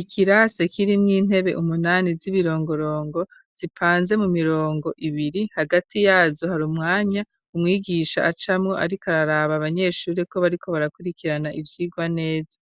Ikirase, kirimwo intebe, umunani, z'ibirongorongo, zipanze mu mirongo ibiri; hagati yazo, hari umwanya, umwigisha acamwo, ariko araraba, abanyeshuri, ko bariko barakurikirana, ivyigwa neza;